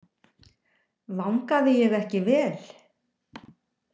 Vangaði ég ekki vel?